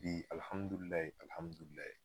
Bi alihamudulilayi alihamudulilayi